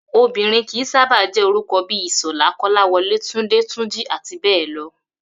Obìnrin kì í sábà jé̩ orúko̩ bí i Ìs̩ò̩lá, Kó̩láwo̩lé, Túndé, Túnjí, àti bé̩è̩ lo̩